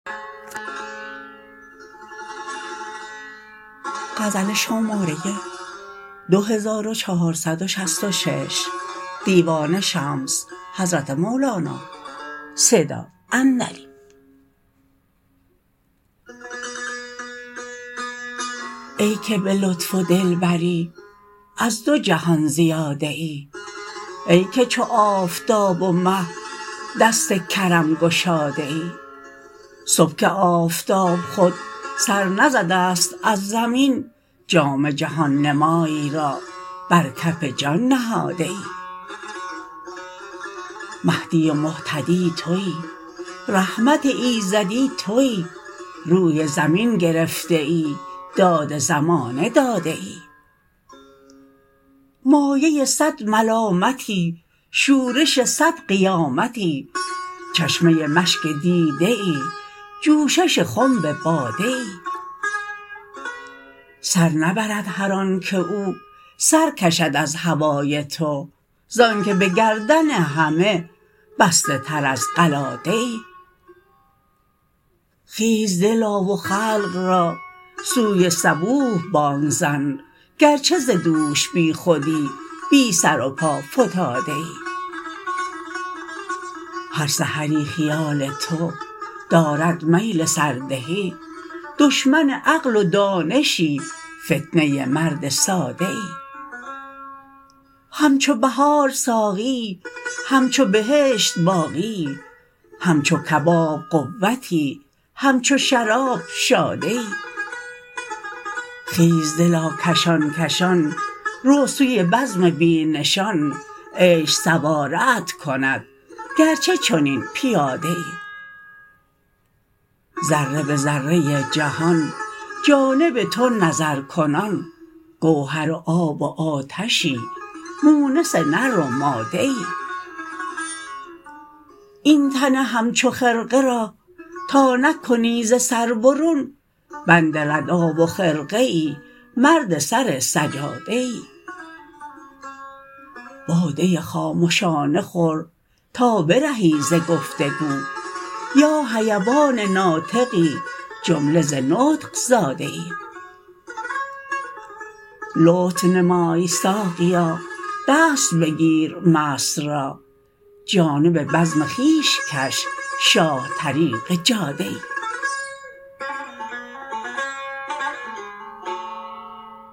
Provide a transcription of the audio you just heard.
ای که به لطف و دلبری از دو جهان زیاده ای ای که چو آفتاب و مه دست کرم گشاده ای صبح که آفتاب خود سر نزده ست از زمین جام جهان نمای را بر کف جان نهاده ای مهدی و مهتدی توی رحمت ایزدی توی روی زمین گرفته ای داد زمانه داده ای مایه صد ملامتی شورش صد قیامتی چشمه مشک دیده ای جوشش خنب باده ای سر نبرد هر آنک او سر کشد از هوای تو ز آنک به گردن همه بسته تر از قلاده ای خیز دلا و خلق را سوی صبوح بانگ زن گرچه ز دوش بیخودی بی سر و پا فتاده ای هر سحری خیال تو دارد میل سردهی دشمن عقل و دانشی فتنه مرد ساده ای همچو بهار ساقیی همچو بهشت باقیی همچو کباب قوتی همچو شراب شاده ای خیز دلا کشان کشان رو سوی بزم بی نشان عشق سواره ات کند گرچه چنین پیاده ای ذره به ذره ای جهان جانب تو نظرکنان گوهر آب و آتشی مونس نر و ماده ای این تن همچو غرقه را تا نکنی ز سر برون بند ردا و خرقه ای مرد سر سجاده ای باده خامشانه خور تا برهی ز گفت و گو یا حیوان ناطقی جمله ز نطق زاده ای لطف نمای ساقیا دست بگیر مست را جانب بزم خویش کش شاه طریق جاده ای